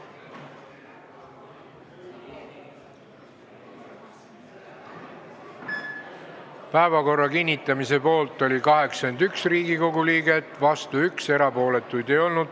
Hääletustulemused Päevakorra kinnitamise poolt oli 81 Riigikogu liiget, vastu 1, erapooletuid ei olnud.